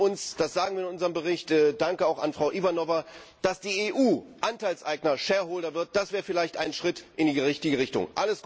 Wir wünschen uns das sagen wir in unserem Bericht, danke auch an Frau Ivanova dass die EU Anteilseigner wird, das wäre vielleicht ein Schritt in die richtige Richtung.